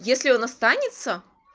если он останется